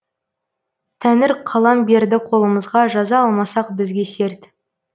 тәңір қалам берді қолымызға жаза алмасақ бізге серт